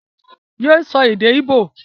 yé so èdè igbo!